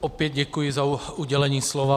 Opět děkuji za udělení slova.